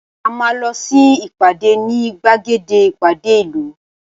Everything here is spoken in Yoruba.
A máa lọ sí ìpàdé ní gbàgede ìpàdé ìlú